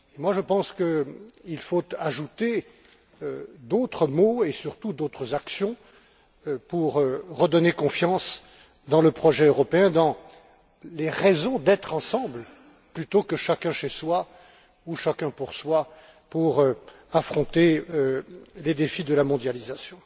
Je pense qu'il faut ajouter d'autres mots, et surtout d'autres actions, pour redonner confiance dans le projet européen, dans les raisons d'être ensemble plutôt que chacun chez soi ou chacun pour soi pour affronter les défis de la mondialisation.